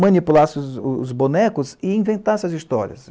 manipulasse os bonecos e inventasse as histórias.